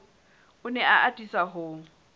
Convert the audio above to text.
o ne a atisa ho